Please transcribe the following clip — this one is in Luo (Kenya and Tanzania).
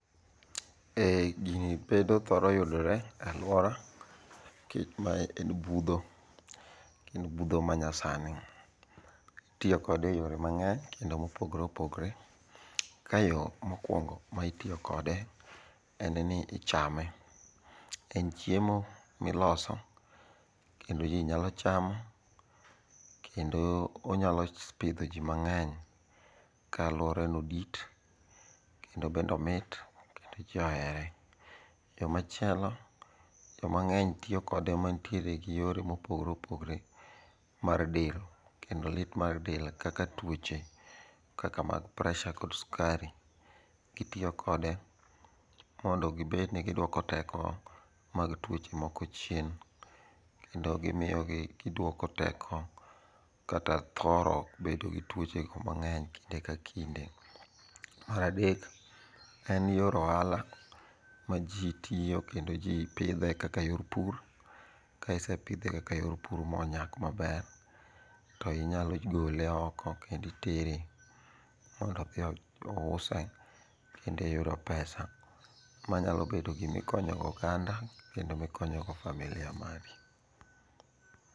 Gini bedo thoro yudore e alwora mae en budh., En budho manyasani. Itiyo kode e yore mang'eny kendo mopogore opogore, ka e yo mokwongo mitiyo kode en ni ichame. En chiemo miloso kendo ji nyalo chamo kendo wanyalo pidho ji mang'eny, ka alworano dit kendo bende omit kendo ji ohere. Yo machielo ,jo mang'eny tiyo kode mantiere gi yore mopogre opogre mar del. Kendo lit mar del kaka tuoche kaka mag pressure kod sukari. Gitiyo kode mondo gibed ni giduoko teko mag tuoche moko chien. Kendo gimiyogi gidwoko teko kata thoro bedo gi tuochego mang'eny kinde ka kinde. Mar adek en ni yor ohala ma ji tiyo kendo ji pidhe kaka yor pur, ka isepidhe kaka yor pur monyak maber, to inyalo gole oko kendo itere mondo odhi ouse kendo iyudo pesa manyalo bedo gimikonyo go oganda kendo mikonyo go familia mari.